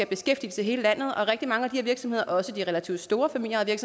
beskæftigelse i hele landet og rigtig mange af de her virksomheder også de relativt store familieejede